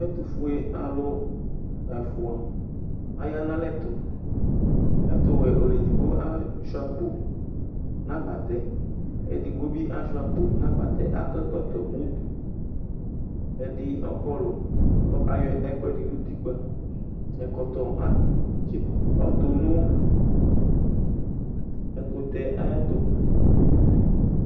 Ɛtʋfue alʋ ɛfʋa aya nʋ ɛlɛtʋ ɛtʋwɛ ɔlʋ edigbo asuia akpo nʋ agbatɛ edigbo bi asuia akpo nʋ agbatɛ akɔ ɛkɔtɔ mʋ ʋdʋ ɛdi ɔkɔlʋ ɔkayɔ ɛkʋɛdi ni ʋtikpa ɛkɔtɔ ɔtʋ nʋ ɛkʋtɛ ayʋ ɛtʋ